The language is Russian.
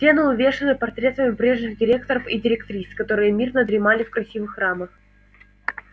стены увешаны портретами прежних директоров и директрис которые мирно дремали в красивых рамах